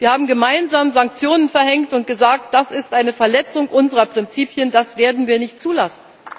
Wir haben gemeinsam Sanktionen verhängt und gesagt, das ist eine Verletzung unserer Prinzipien, das werden wir nicht zulassen.